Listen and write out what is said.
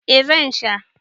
eh zan. Sha